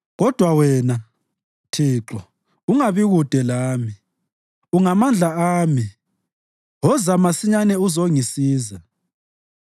Kodwa wena, Thixo, ungabi kude lami. Ungamandla ami, woza masinyane uzongisiza.